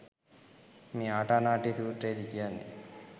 මේ ආටානාටිය සූත්‍රයේදී කියන්නෙ